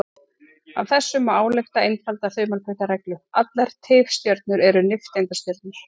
Af þessu má álykta einfalda þumalputtareglu: Allar tifstjörnur eru nifteindastjörnur.